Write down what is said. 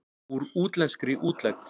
Úr útlenskri útlegð.